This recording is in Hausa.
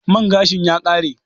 Man gashin ya kare?